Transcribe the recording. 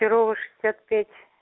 перово шестьдесят пять